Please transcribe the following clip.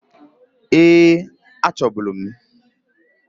Eeǃ Achọbulu m.